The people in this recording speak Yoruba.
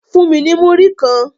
Fun mi ni muri kan